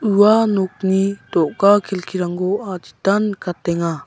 ua nokni do·ga kelkirangko aditan nikatenga.